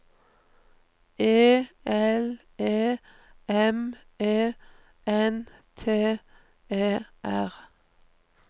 E L E M E N T E R